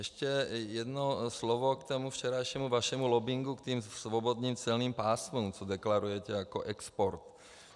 Ještě jedno slovo k tomu včerejšímu vašemu lobbingu k těm svobodným celním pásmům, co deklarujete jako export.